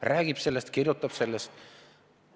Ta räägib sellest, kirjutab sellest.